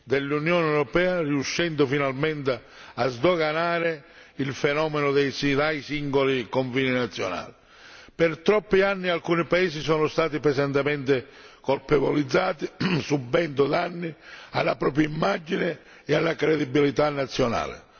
dell'Unione europea, riuscendo finalmente a sdoganare il fenomeno dai singoli confini nazionali per troppi anni alcuni paesi sono stati pesantemente colpevolizzati subendo danni alla propria immagine e alla credibilità nazionale.